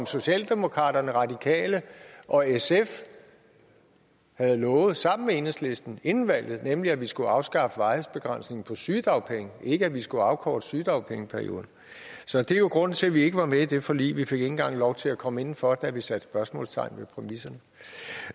socialdemokraterne radikale og sf havde lovet sammen med enhedslisten inden valget nemlig at vi skulle afskaffe varighedsbegrænsningen på sygedagpenge ikke at vi skulle afkorte sygedagpengeperioden så det er jo grunden til at vi ikke var med i det forlig vi fik ikke engang lov til at komme indenfor da vi satte spørgsmålstegn